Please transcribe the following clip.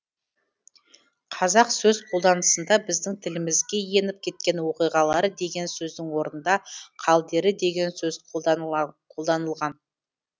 қазақ сөз қолданысында біздің тілімізге еніп кеткен оқиғалары деген сөздің орнында қалдері деген сөз қолданылған